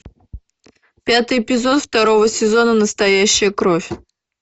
пятый эпизод второго сезона настоящая кровь